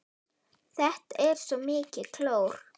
Þetta er svo mikið klór.